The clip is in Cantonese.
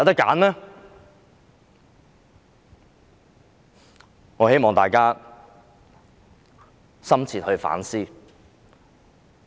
我希望大家深切反思。